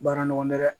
Baara nɔgɔ dɛ